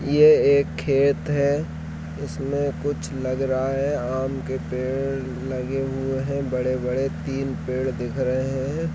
ये एक खेत है इसमें कुछ लग रहा है आम के पेड़ लगे हुए है बड़े - बड़े तीन पेड़ दिख रहे है ।